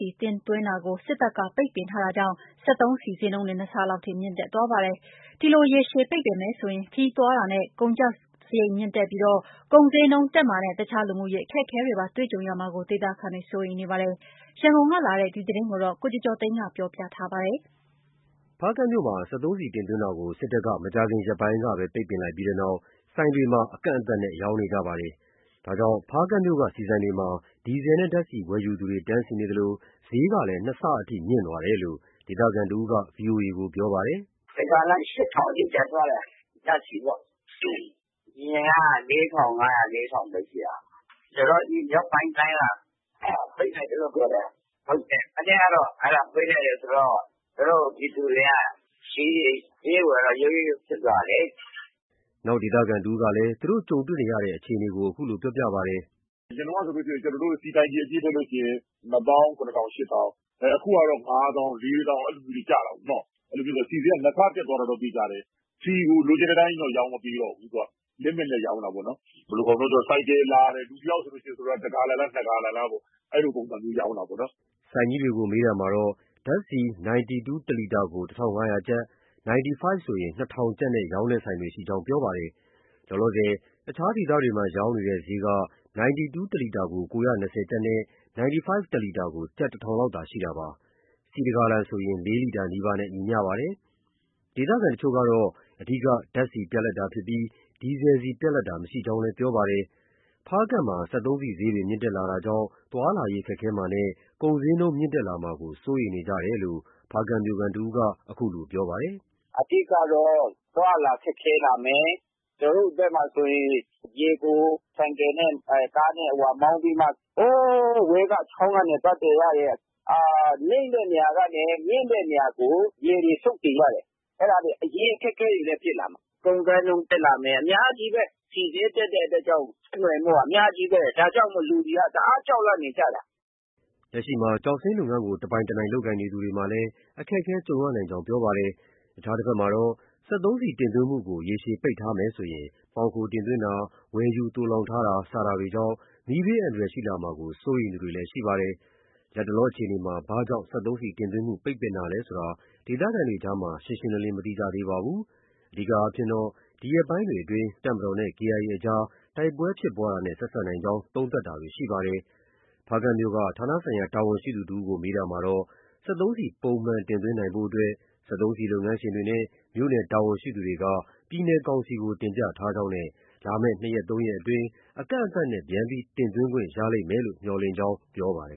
ီ တင်သွင်းတာကို စစ်တပ်က ပိတ်ပင်ထားတာကြောင့် စက်သုံးဆီ ဈေးနှုန်းတွေ ၂ ဆလောက်ထိ မြင့်တက်သွားပါတယ်။ ဒီလို ရေရှည်ပိတ်ပင်မယ်ဆိုရင် ခရီးသွားလာတာနဲ့ ကုန်သွယ်စရိတ်မြင့်တက်ပြီး ကုန်ဈေးနှုန်းတက်မှာနဲ့ တခြားလူမှုရေးအခက်အခဲတွေပါ တွေ့ကြုံရမှာကို ဒေသခံတွေက စိုးရိမ်နေကြပါတယ်။ ရန်ကုန်ကလာတဲ့ ဒီသတင်းကို ကိုကျော်ကျော်သိန်းက ပြောပြထားပါတယ်။ ဖားကန့်မြို့မှာ စက်သုံးဆီတင်သွင်းတာကို စစ်တပ်က မကြာခင်ရက်ပိုင်းကပဲ ပိတ်ပင်ခဲ့ပြီးနောက် ဆိုင်တွေမှာ အကန့်အသတ်နဲ့သာ ရောင်းချနေကြပါတယ်။ ဒါကြောင့် ဖားကန့်မြို့က ဆီဆိုင်တွေမှာ ဒီဇယ်နဲ့ဓါတ်ဆီဝယ်ယူသူတွေ တန်းစီနေသလို ဈေးကလည်း နှစ်ဆအထိ မြင့်တက်သွားတယ်လို့ ဒေသခံတစ်ဦးက VOA ကို ပြောပါတယ်။ “တစ်ဂါလံ ၈,၀၀၀ အထိ တက်သွားတယ်။ အရင်က ၄,၅၀၀။ ၄,၀၀၀ ပဲ ရှိတာ။ မြောက်ပိုင်းတိုင်းက ပိတ်လိုက်တယ်လို့ ပြောတယ်။ မနေ့ကတော့ အဲဒါပိတ်လိုက်တယ်ဆိုတော့ ပြည်သူတွေက ဈေးဝယ်တော့ ရုတ်ရုတ်ရုတ်ရုတ်ဖြစ်သွားတာလေ။” နောက်ဒေသခံတစ်ဦးကလည်း သူတို့ ကြုံတွေ့နေရတဲ့အခြေအနေကို အခုလို ပြောပါတယ်။ “အရင်တုံးက ဆိုရင် ကျနော်တု့ိ ဆီတိုင်ကီအပြည့်ထည့်လို့ရှိရင် ၂ သောင်း ၇ ထောင်၊ ၈ ထောင်။ အခုကတော့ ၅ သောင်း၊ ၄ သောင်း အဲလိုမျိုးတွေ ကျတာကိုနော်။ အဲတော့ ဆီဈေးက နှစ်ဆတက်သွားတာတော့ သေချာတယ်။ ဆီကို လိုချင်တဲ့အတိုင်းကြီးတော့ ရောင်းမပေးတော့ဘူး။ Limit နဲ့ ရောင်းတာပေါ့နော်။ ဆိုလိုတာက ဆိုင်ကယ်လာတယ်။ လူတစ်ယောက်ဆိုရင် တစ်ဂါလံလား၊ နှစ်ဂါလံလား အဲလိုပုံစံမျိုးရောင်းတာပေါ့နော်။” ဆိုင်ကြီးတွေကို မေးမြန်းရာမှာ ဓါတ်ဆီ 92 တစ်လီတာကို ၁,၅၀၀ ကျပ်၊ 95 ဆိုရင် ၂,၀၀၀ ကျပ်နဲ့ရောင်းတဲ့ဆိုင်တွေရှိကြောင်း ပြောပါတယ်။ လောလောဆယ် အခြားဒေသတွေမှာ ရောင်းနေတဲ့ ဈေးက 92 တစ်လီတာကို ၉၂၀ ကျပ်နဲ့ 95 တစ်လီတာကို ကျပ် ၁,၀၀၀ လောက်သာရှိတာဖြစ်ပါတယ်။ ဆီ ၁ ဂါလံဆိုရင် ၄ လီတာနီးပါးနဲ့ ညီမ ျှပါတယ်။ ဒေသခံတချို့ကတော့ အဓိက ဓါတ်ဆီပြတ်လပ်တာဖြစ်ပြီး ဒီဇယ်ဆီပြတ်လပ်တာမရှိကြောင်းလည်း ပြောပါတယ်။ ဖားကန့်မှာ စက်သုံးဆီဈေးတွေ မြင့်တက်လာတာကြောင့် သွားလာရေးခက်ခဲမှာနဲ့ ကုန်ဈေးနှုန်းတွေမြင့်တက်လာမှာကို စိုးရိမ်နေကြတယ်လို့ ဖားကန့်မြို့ခံတစ်ဦးက အခုလိုပြောပါတယ်။ “အဓိကတော့ အသွားအလာ ခက်ခဲလာမယ်။ ကျနော်တို့ဘက်မှာ ဆိုရင် ရေကို ဆိုင်ကယ်နဲ့ ကားနဲ့ မောင်းပြီးမှ ဟိုးအဝေးက ချောင်းကနေ သွားသယ်ရတယ်။ နိမ့်တဲ့နေရာကနေ မြင့်တဲ့နေရာကို ရေတွေ စုတ်တင်ရတယ်။ အဲဒါတွေ ရေအခက်အခဲတွေလည်း ဖြစ်လာမှာ။ ကုန်ဈေးနှုန်းတက်လာမယ် အများကြီးပဲ။ ဆီဈေးတက်တဲ့အတွက်ကြောင့် ဆက်နွယ်မှုက အများကြီးပဲ ဒါကြောင့် လူတွေက တအားကြောက်လန့်နေကြတာ။” လက်ရှိ ကျောက်စိမ်းလုပ်ငန်းးကို တပိုင်တနိုင် လုပ်ကိုင်နေသူတွေမှာလည်း အခက်အခဲတွေ ကြုံရနိုင်ကြောင်း ပြောပါတယ်။ အခြားတဘက်မှာတော့ စက်သုံးဆီတင်သွင်းမှုကို ရေရှည်ပိတ်ပင်ထားမယ်ဆိုရင် မှောင်ခိုတင်သွင်းတာ၊ ဝယ်ယူသိုလှောင်ထားတာ စတာတွေကြောင့် မီးဘေးအန္တရာယ်ရှိလာမှာကို စိုးရိမ်သူတွေလည်း ရှိပါတယ်။ လတ်တလောအခြေအနေမှာ ဘာကြောင့် စက်သုံးဆီတင်သွင်းမှု ပိတ်ပင်တာလည်းဆိုတာကို ဒေသခံတွေကြားမှာ ရှင်းရှင်းလင်းလင်း မသိကြသေးပါဘူး။ အဓိကကတော့ ဒီရက်ပိုင်းတွေအတွင်း တပ်မတော်နဲ့ KIA အကြား တိုက်ပဲွဲဖြစ်ပွားတာနဲ့ ဆက်စပ်နိုင်ကြောင်း သုံးသပ်တာတွေ ရှိနေပါတယ်။ ဖားကန့်မြို့က ဌာနဆိုင်ရာ တာဝန်ရှိသူတစ်ဦးကို မေးမြန်းရာမှာတော့ စက်သုံးဆီ ပုံမှန်တင်သွင်းနိုင်ရေးအတွက် စက်သုံးဆီလုပ်ငန်းရှင်တွေနဲ့ မြို့နယ်တာဝန်ရှိသူတွေက ပြည်နယ်ကောင်စီကို တင်ပြထားကြောင်းနဲ့ လာမယ့် ၂ ရက်၊ ၃ ရက်အတွင်းမှာ အကန့်အသတ်နဲ့ ပြန်လည်တင်သွင်းခွင့်ရလိမ့်မယ်လို့ မျှော်လင့်ကြောင်း ပြောပါတယ်